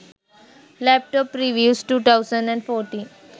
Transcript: laptop reviews 2014